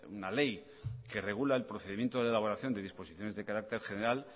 una ley que regula el procedimiento de elaboración de disposiciones de carácter general